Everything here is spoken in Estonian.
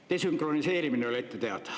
Desünkroniseerimine oli ette teada.